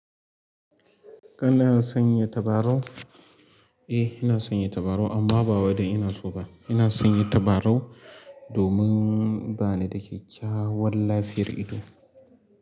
Kana sanya tabarau? Eh, ina sanya tabarau amma ba wai dan ina so ba. Ina sanya tabarau domin bani da kyakkyawar lafiyar ido.